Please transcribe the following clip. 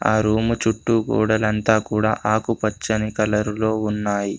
ఆ రూము చుట్టూ గోడలంతా కూడా ఆకుపచ్చని కలరులో ఉన్నాయి.